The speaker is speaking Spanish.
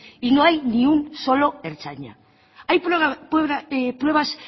y no hay ni un solo ertzaina hay pruebas